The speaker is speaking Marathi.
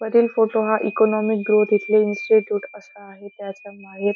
वरील फोटो हा इकोनॉमिक ग्रोथ येथील इंस्टीट्यूट असा आहे त्याच्या बाहेर--